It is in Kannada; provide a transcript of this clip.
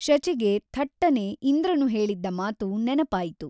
ಶಚಿಗೆ ಥಟ್ಟನೆ ಇಂದ್ರನು ಹೇಳಿದ್ದ ಮಾತು ನೆನಪಾಯಿತು.